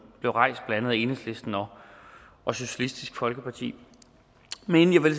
blev rejst af andet enhedslisten og socialistisk folkeparti men inden vil